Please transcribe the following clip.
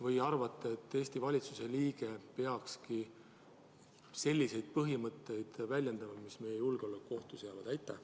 Või arvate, et Eesti valitsuse liige peakski väljendama selliseid põhimõtteid, mis meie julgeoleku ohtu seavad?